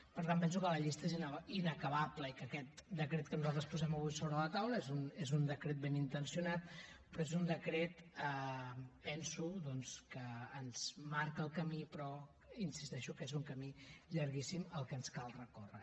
per tant penso que la llista és inacabable i que aquest decret que nosaltres posem avui sobre la taula és un decret ben intencionat però és un decret penso doncs que ens marca el camí però insisteixo que és un camí llarguíssim el que ens cal recórrer